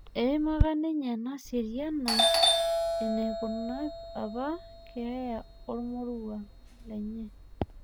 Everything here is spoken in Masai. Eimaka ninye Naseriana enekuna apa keeya ormorua lenye